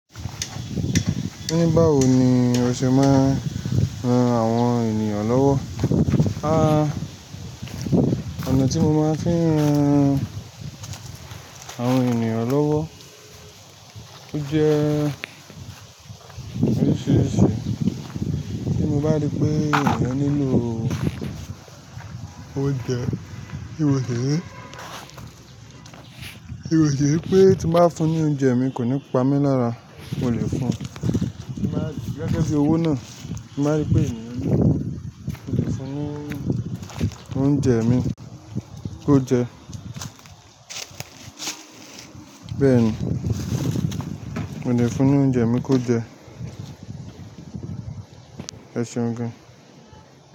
Ní báwo ni o ṣe máa ń ran àwọn ènìyàn lọ́wọ́? Àá, ọ̀nà tí mo máa ń fi ń ran àwọn ènìyàn lọ́wọ́ ó jẹ́ oríṣiríṣi. Bí mo bá rí pé èèyàn nílò oúnjẹ, ti mo si ní, ti mo si ri pé tí mo bá fún un ní oúnjẹ mi kò ní pa mí lára, mo lè fún un. Mo máa rí gẹ́gẹ́ bí owó náà, mo máa rí pé èèyàn nílò, mo lè fún un ní oúnjẹ mi kó jẹ. Bẹ́ẹ̀ ni, mo lè fún un ní oúnjẹ mi kó jẹ. Ẹ ṣeun gan.